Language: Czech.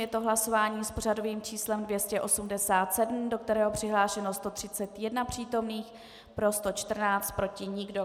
Je to hlasování s pořadovým číslem 287, do kterého přihlášeno 131 přítomných, pro 114, proti nikdo.